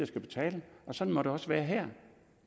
skal betale sådan må det også være her